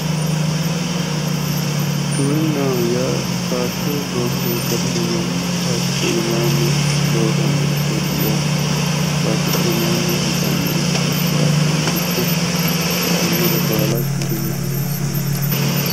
Giwirinnaho yaa baatto loosire galino manni baattote iimaanni loosannorichooti yaate. baattote iimaaanni wixannoricho laashshannoricho injaannore baala giwirinnaho yinanni.